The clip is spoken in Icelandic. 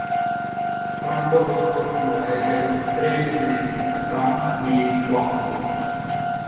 Frambolur skordýra er gerður úr þremur liðum, fram-, mið-, og afturlið.